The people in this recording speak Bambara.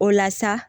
O la sa